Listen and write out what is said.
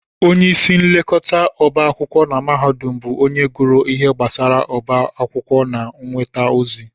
Onyeisi nlekọta ọbá akwụkwọ na mahadum bụ onye gụrụ ihe gbasara ọbá akwụkwọ na nnweta ozi